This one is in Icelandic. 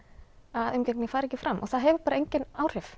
að umgengnin fari ekki fram og það hefur bara engin áhrif